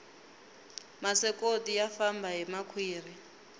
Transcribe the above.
masokoti ya famba hi makhwiri